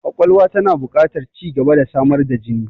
Ƙwaƙwalwa tana buƙatar ci gaba da samar da jini.